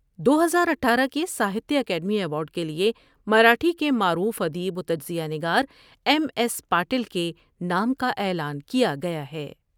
دو ہزار اٹھارہ کے ساہتیہ اکیڈمی ایوارڈ کیلئے مراٹھی کے معروف ادیب و تجزیہ نگار ایم ایس پاٹل کے نام کا اعلان کیا گیا ہے ۔